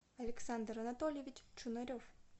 александр анатольевич чунарев